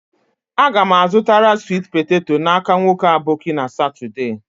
a ga m azutara sweet poteto n'aka nwoke aboki na Saturday.